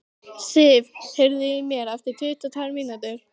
Sif, heyrðu í mér eftir tuttugu og tvær mínútur.